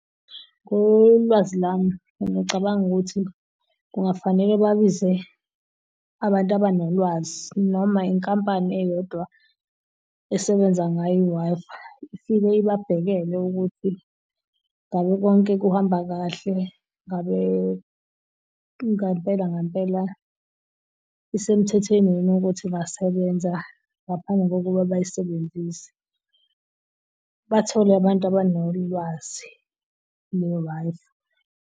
Ngolwazi lami ngiyacabanga ukuthi kungafanele babize abantu abanolwazi noma inkampani eyodwa esebenza ngayo i-Wi-Fi ifike ababhekele ukuthi ngabe konke kuhamba kahle. Ngabe ngampela ngampela isemthethweni yini ukuthi ingasebenza ngaphambi kokuba bayisebenzise. Bathole abantu abanolwazi nge-Wi-Fi.